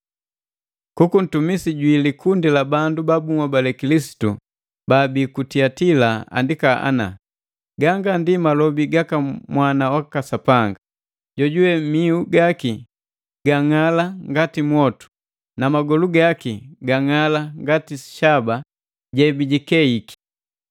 “Kuku ntumisi jwi likundi la bandu ba bunhobale Kilisitu baabi ku Tuatila andika ana.” “Ganga ndi malobi gaka Mwana waka Sapanga, jojuwe miu gaki gang'ala ngati mwotu, na magolu gaki gang'ala ngati shaba jebijikeiki.